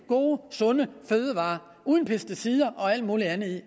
gode sunde fødevarer uden pesticider og alt muligt andet i